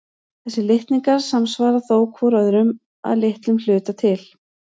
Þessir litningar samsvara þó hvor öðrum að litlum hluta til.